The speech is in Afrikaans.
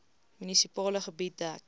munisipale gebied dek